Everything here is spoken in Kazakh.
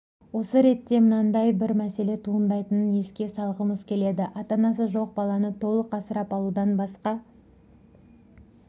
осы ретте мынадай бір мәселе туындайтынын еске салғымыз келеді ата-анасы жоқ баланы толық асырап алудан басқа